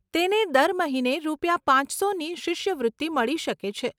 તેને દર મહિને રૂપિયા પાંચસોની શિષ્યવૃત્તિ મળી શકે છે.